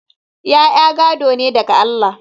ya'ya gado ne daga Allah